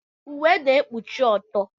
Uwe na-ekpuchi ọtọ.